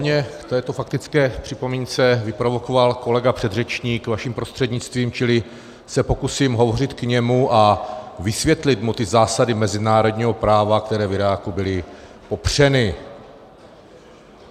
Mě k této faktické připomínce vyprovokoval kolega předřečník vaším prostřednictvím, čili se pokusím hovořit k němu a vysvětlit mu ty zásady mezinárodního práva, které v Iráku byly popřeny.